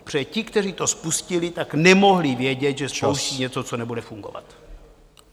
Protože ti, kteří to spustili, tak nemohli vědět, že spouštějí něco , co nebude fungovat.